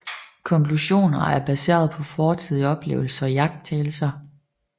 Konklusioner er baseret på fortidige oplevelser og iagttagelser